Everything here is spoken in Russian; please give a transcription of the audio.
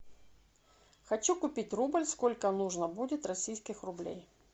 хочу купить рубль сколько нужно будет российских рублей